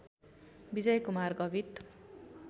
Vijay Kumar Gavit